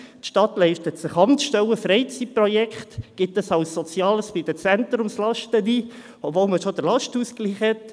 Die Stadt leistet sich Amtsstellen, Freizeitprojekte, gibt dies beim Sozialen der Zentrumslasten ein, obwohl man schon den Lastenausgleich hat.